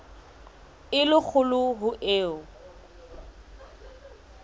e le kgolo ho eo